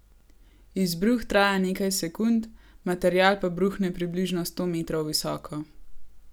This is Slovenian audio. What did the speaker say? Izbruh traja nekaj sekund, material pa bruhne približno sto metrov visoko.